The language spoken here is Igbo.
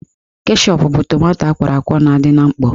Keshọp bụ tomanto akwọrọ akwọ na-adị na mkpọ